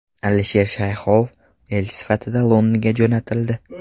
Alisher Shayxov elchi sifatida Londonga jo‘natildi.